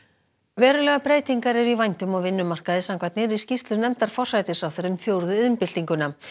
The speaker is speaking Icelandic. verulegar breytingar eru í vændum á vinnumarkaði samkvæmt nýrri skýrslu nefndar forsætisráðherra um fjórðu iðnbyltinguna